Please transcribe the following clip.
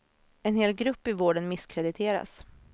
En hel grupp i vården misskrediteras.